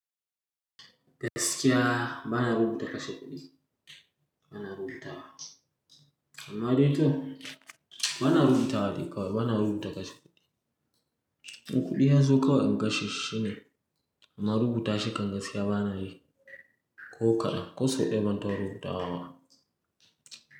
Gaskiya ba na rubuta kashe kuɗi, ba na rubutawa. Amma dai to ba na rubutawa dai kawai, ba na rubuta kashe kuɗi. Kuɗi ya zo kawai in kashe shi shi ne amma rubuta shi kam gaskiya ba na yi. Ko kadan, ko sau ɗaya ban taba rubutawa ba.